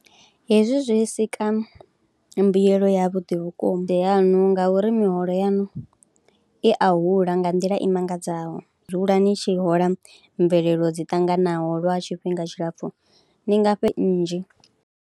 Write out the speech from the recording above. Hezwi zwi sika mbuyelo yavhuḓi vhukuma yaṋu ngauri miholo yaṋu i a hula nga nḓila i mangadzaho, ni dzula ni tshi hola mvelelo dzi ṱanganaho lwa tshifhinga tshilapfhu ni nga fhe nnzhi.